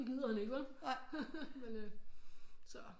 Det gider han ikke vel så